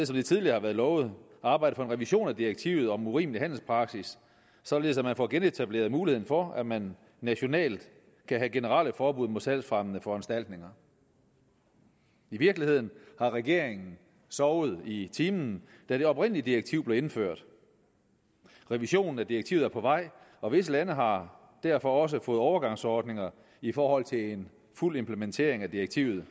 som det tidligere har været lovet arbejde for en revision af direktivet om urimelig handelspraksis således at man får genetableret muligheden for at man nationalt kan have generelle forbud mod salgsfremmende foranstaltninger i virkeligheden har regeringen sovet i timen da det oprindelige direktiv blev indført revisionen af direktivet er på vej og visse lande har derfor også fået overgangsordninger i forhold til en fuld implementering af direktivet